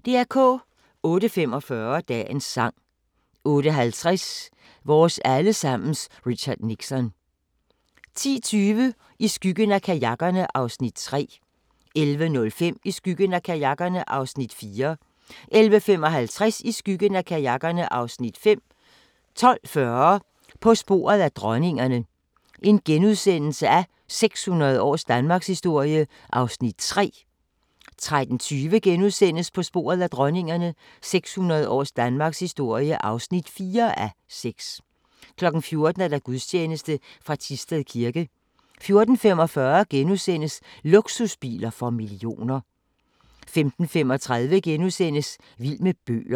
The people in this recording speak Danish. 08:45: Dagens sang 08:50: Vores alle sammens Richard Nixon 10:20: I skyggen af kajakkerne (Afs. 3) 11:05: I skyggen af kajakkerne (Afs. 4) 11:55: I skyggen af kajakkerne (Afs. 5) 12:40: På sporet af dronningerne – 600 års danmarkshistorie (3:6)* 13:20: På sporet af dronningerne – 600 års Danmarkshistorie (4:6)* 14:00: Gudstjeneste fra Thisted Kirke 14:45: Luksusbiler for millioner * 15:35: Vild med bøger *